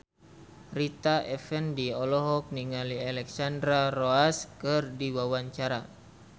Rita Effendy olohok ningali Alexandra Roach keur diwawancara